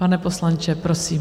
Pane poslanče, prosím.